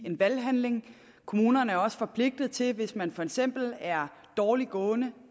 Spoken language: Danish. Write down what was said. i en valghandling kommunerne også forpligtet til hvis man for eksempel er dårligt gående er